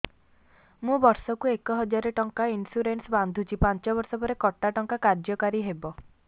ମୁ ବର୍ଷ କୁ ଏକ ହଜାରେ ଟଙ୍କା ଇନ୍ସୁରେନ୍ସ ବାନ୍ଧୁଛି ପାଞ୍ଚ ବର୍ଷ ପରେ କଟା ଟଙ୍କା କାର୍ଯ୍ୟ କାରି ହେବ